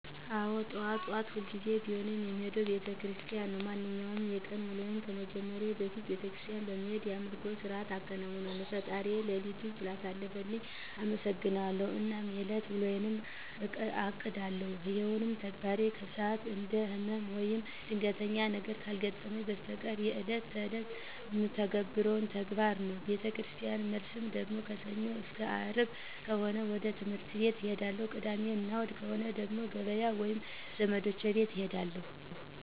አዎ ጠዋት ጠዋት ሁልጊዜም ቢሆን የምሄደው ቤተክርስቲያን ነው። ማንኛውንም የቀን ውሎዬን ከመጀመሬ በፊት ቤተክርስቲያን በመሄድ የአምልኮ ስርዓትን አከናውናለሁ፣ ፈጣሪዬን ሌሊቱን ስላሳለፈልኝ አመሠግነዋለሁ አናም የእለት ውሎዬን አቅዳለሁ። ይሄም ተግባሬ ከስንት አንዴ ህመም ወይም ድንገተኛ ነገር ካልገጠመኝ በስተቀር እለት እለት የምተገብረው ተግባር ነው። ከቤተክርስቲያን መልስ ደግሞ ከሰኞ አስከ አርብ ከሆነ ወደ ትህምርት ቤት እሄዳለሁ። ቅዳሜ እና እሁድ ከሆነ ደግሞ ገበያ ወይም ዘመዶቼ ቤት እሄዳለሁ።